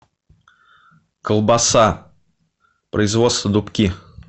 колбаса производство дубки